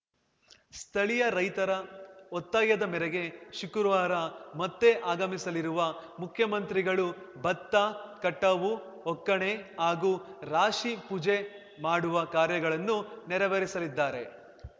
ಸ್ಥಳೀಯ ರೈತರ ಒತ್ತಾಯದ ಮೇರೆಗೆ ಶುಕ್ರವಾರ ಮತ್ತೆ ಆಗಮಿಸಲಿರುವ ಮುಖ್ಯಮಂತ್ರಿಗಳು ಭತ್ತ ಕಟಾವು ಒಕ್ಕಣೆ ಹಾಗೂ ರಾಶಿ ಪೂಜೆ ಮಾಡುವ ಕಾರ್ಯಗಳನ್ನೂ ನೆರವೇರಿಸಲಿದ್ದಾರೆ